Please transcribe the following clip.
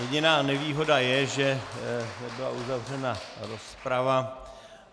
Jediná nevýhoda je, že byla uzavřena rozprava.